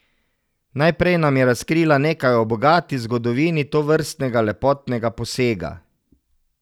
Najprej nam je razkrila nekaj o bogati zgodovini tovrstnega lepotnega posega.